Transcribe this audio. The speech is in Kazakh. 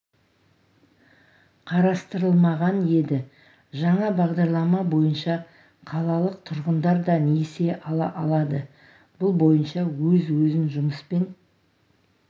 қарастырылмаған еді жаңа бағдарлама бойынша қалалық тұрғындар да несие ала алады бұл бойынша өз-өзін жұмыспен